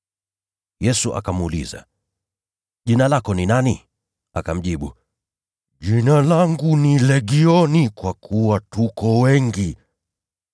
Yesu akamuuliza, “Jina lako ni nani?” Akamjibu, “Jina langu ni Legioni, kwa kuwa tuko wengi.”